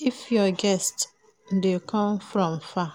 If your guests de come from far